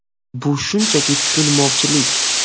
Bu shunchaki tushunmovchilik.